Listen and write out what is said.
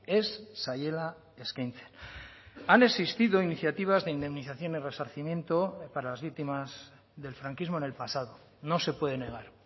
ez zaiela eskaintzen han existido iniciativas de indemnización y resarcimiento para las víctimas del franquismo en el pasado no se puede negar